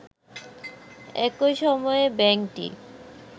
একই সময়ে ব্যাংকটি